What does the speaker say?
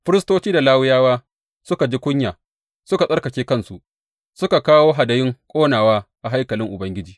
Firistoci da Lawiyawa suka ji kunya suka tsarkake kansu, suka kawo hadayun ƙonawa a haikalin Ubangiji.